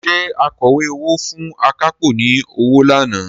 Ṣé akọ̀wé owó fún akápò ni ọwọ́ lánàá?